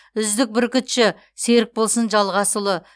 үздік бүркітші серікболсын жалғасұлы